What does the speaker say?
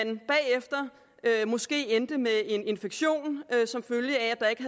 de bagefter måske endte med en infektion som følge af at der ikke